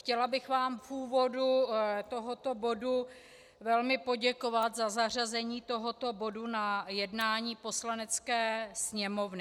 Chtěla bych vám v úvodu tohoto bodu velmi poděkovat za zařazení tohoto bodu na jednání Poslanecké sněmovny.